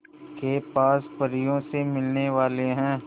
के पास परियों से मिलने वाले हैं